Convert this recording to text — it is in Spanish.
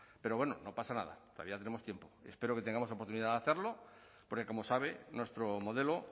pero bueno no pasa nada todavía tenemos tiempo espero que tengamos la oportunidad de hacerlo porque como sabe nuestro modelo